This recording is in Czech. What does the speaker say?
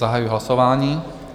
Zahajuji hlasování.